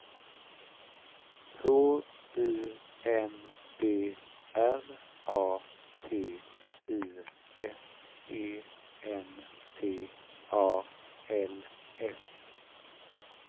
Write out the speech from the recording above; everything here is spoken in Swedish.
H U N D R A T U S E N T A L S